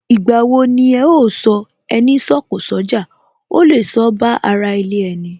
Ìgbà wo ni ẹ ó sọ " Ẹni sọ̀kọ̀ sójà, ó lè sọ ba ara ilé ẹni?